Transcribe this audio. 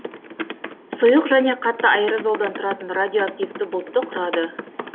сұйық және қатты аэрозолдан тұратын радиоактивті бұлтты құрады